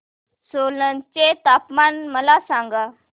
सोलन चे तापमान मला सांगा